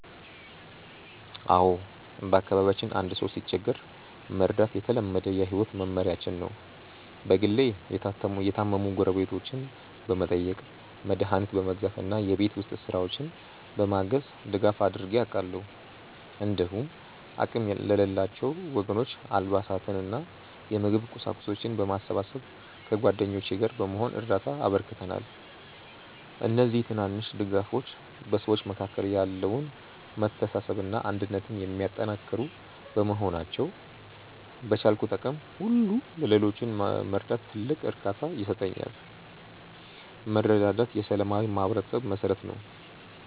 አዎ፣ በአካባቢያችን አንድ ሰው ሲቸገር መርዳት የተለመደ የህይወት መመሪያችን ነው። በግሌ የታመሙ ጎረቤቶችን በመጠየቅ፣ መድኃኒት በመግዛት እና የቤት ውስጥ ስራዎችን በማገዝ ድጋፍ አድርጌ አውቃለሁ። እንዲሁም አቅም ለሌላቸው ወገኖች አልባሳትንና የምግብ ቁሳቁሶችን በማሰባሰብ ከጓደኞቼ ጋር በመሆን እርዳታ አበርክተናል። እነዚህ ትናንሽ ድጋፎች በሰዎች መካከል ያለውን መተሳሰብና አንድነት የሚያጠናክሩ በመሆናቸው፣ በቻልኩት አቅም ሁሉ ሌሎችን መርዳት ትልቅ እርካታ ይሰጠኛል። መረዳዳት የሰላማዊ ማህበረሰብ መሠረት ነው።